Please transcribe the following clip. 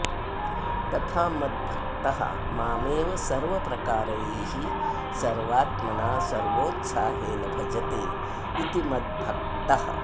तथा मद्भक्तः मामेव सर्वप्रकारैः सर्वात्मना सर्वोत्साहेन भजते इति मद्भक्तः